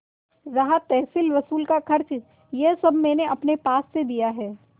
रहा तहसीलवसूल का खर्च यह सब मैंने अपने पास से दिया है